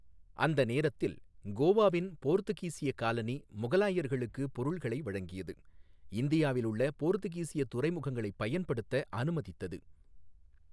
அந்த நேரத்தில் கோவாவின் போர்த்துகீசிய காலனி முகலாயர்களுக்கு பொருள்களை வழங்கியது, இந்தியாவில் உள்ள போர்த்துகீசிய துறைமுகங்களைப் பயன்படுத்த அனுமதித்தது.